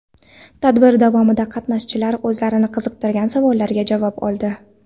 Tadbir davomida qatnashchilar o‘zlarini qiziqtirgan savollarga javob oldi.